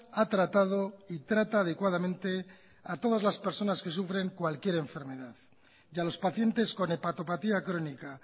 ha tratado y trata adecuadamente a todas las personas que sufren cualquier enfermedad y a los pacientes con hepatopatía crónica